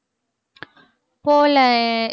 போகலை